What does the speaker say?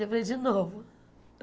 Eu falei, de novo.